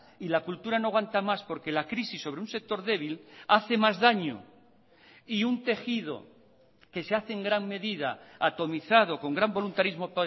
y la cultura no aguanta más porque la crisis sobre un sector débil hace más daño y un tejido que se hace en gran medida atomizado con gran voluntarismo